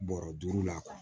Bɔrɔ duuru la